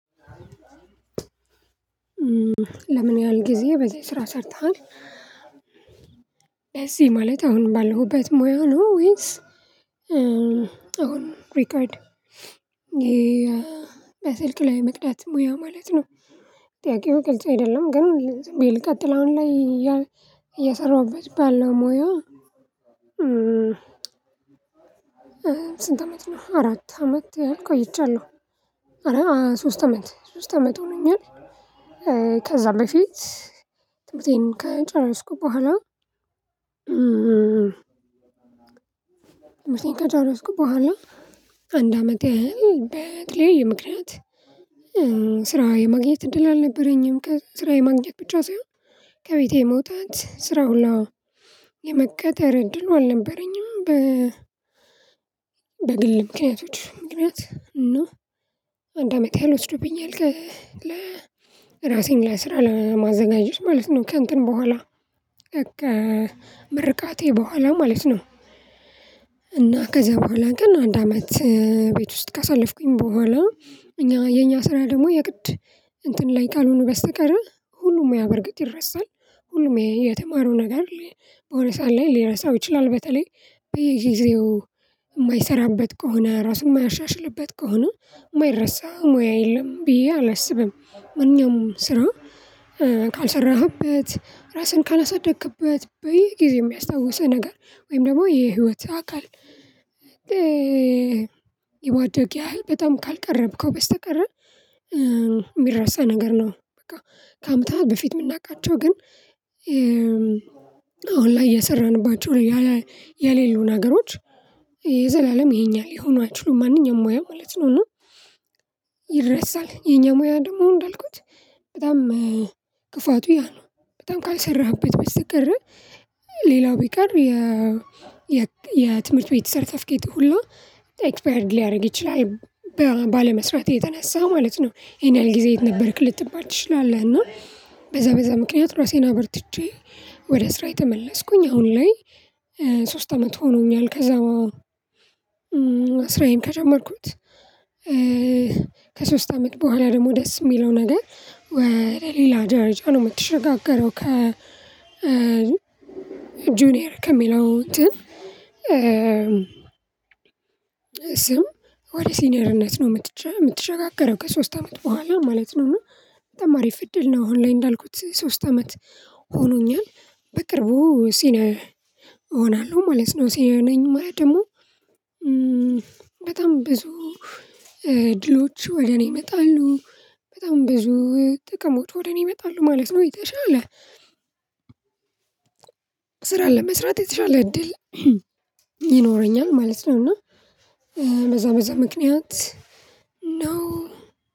ለምን ያህል ጊዜ በዚህ ስራ ሰርተሃል እዚህ ማለት አሁን ባለሁበት ሙያ ነው ወይስ? አሁን ሪከርድ በስልክ ላይ መቅዳት ሙያ ማለት ነው። ጥያቄው ግልጽ አይደለም። ግን ዝም ብዬ ልቀጥሎ አሁን ላይ እየሰራሁበት ባለው ሙያ? ስንት አመት ነው አራት አመት ያህል ቆይቻለሁ። አረ ሶስት አመት ሶስት አመት ሆኖኛል። ከዛ በፊት ትመርቴን ከጨረስኩ በኋላ። ትምርቴን ከጨረስኩ በኋላ አንድ አመት ያሀል በተለያየ ምክንያት። ስራ የማግኘት እድል አልነበረኝም። ከስራ የማግኘት ብቻ ሳይሆን ከቤቴ መውጣት ስራው ሁላ የመቀጠር እድሉ አልነበረኝም። በ በግል ምክንያቶች ምክንያት እና አንድ አመት ያህል ወስዶብኛል ከ ለራሴን ለስራ ለማዘጋጀት ማለት ነው። ከእንትን በኋላ ምርቃቴ በኋላ ማለት ነው። እና ከዛ በኋላ ግን አንድ አመት ቤት ውስጥ ካሳለፍኩኝ በኋላ። እኛ የኛ ስራ ደግሞ የግድ እንትን ላይ ካልሆነ በስተቀር ሁሉም ሙያ በርግጥ ይረሳል። ሁሉም የተማረው ነገር በሆነ ሰዓት ላይ ሊረሳው ይችላል። በተለይ በየጊዜው የማይሰራበት ከሆነ ራሱን የማያሻሽልበት ከሆነ የማይረሳ ሙያ የለም ብዬ አላስብም። ማንኛውም ስራ ካልሰራህበት ራስህን ካላሳደግክበት በይ ጊዜ የሚያስታውሰህ ነገር ወይም ደግሞ የህይወት አካል። ይማደግ ያህል በጣም ካልቀረብከው በስተቀር የሚረሳ ነገር ነው በቃ። ከአመታት በፊት የምናቃቸው ግን አሁን ላይ የሰራንባቸው የሌሉ ነገሮች የኛ ሊሆኑ አይችሉም። ማንኛውም ሙያ ማለት ነው። እና ይረሳል የኛ ሙያ ደግሞ እንዳልኩት በጣም ክፋቱ ያ ነው። በጣም ካልሰራህበት በስተቀር ሌላው ቢቀር የ የ የትምህርት ቤት ሰርከፍኬት ሁሉ ኤክስፓየርድ ሊያደርግ ይችላል ባለመስራቴ የተነሳ ማለት ነው። ይሄን ያህል ጊዜ የት ነበርክ ልትባል ትችላለህ። እና በዛ በዛ ምክንያት ራሴን አበርትቼ ወደ ስራዬ ተመለስኩኝ አሁን ላይ ሶስት አመት ሆኖኛል። ከዛ በኋላ ስራዬን ከጀመርኩት ከሶስት አመት በኋላ ደግሞ ደስ የሚለው ነገር ወደ ሌላ ደረጃ ነው የምትሸጋገረው። ከ ጁኒየር ከሚለው እንትን ስም ወደ ሲኒየርነት ነው የምትሸጋገረው ከሶስት አመት በኋላ ማለት ነው። እና በጣም አሪፍ እድል ነው። አሁን ላይ እንዳልኩት ሶስት አመት ሆኖኛል በቅርቡ ሲንየር እሆናለሁ ማለት ነው። ሲነየር ነኝ ማለት ደግሞ በጣም ብዙ እድሎች ወደ እኔ ይመጣሉ በጣም ብዙ ጥቅሞች ወደ እኔ ይመጣሉ ማለት ነው። የተሻለ ስራ ለመስራት የተሻለ እድል ይኖረኛል ማለት ነው። እና በዛ በዛ ምክንያት ነው